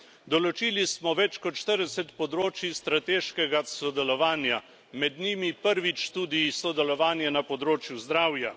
Določili smo več kot 40 področij strateškega sodelovanja, med njimi prvič tudi sodelovanje na področju zdravja.